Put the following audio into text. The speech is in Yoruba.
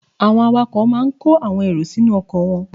Drivers load their buses with passengers